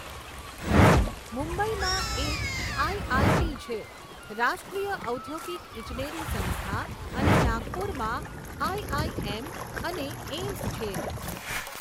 મુંબઈમાં એક આઈઆઈટી છે, રાષ્ટ્રીય ઔદ્યોગિક ઈજનેરી સંસ્થા અને નાગપુરમાં આઇઆઇએમ અને એઈમ્સ છે.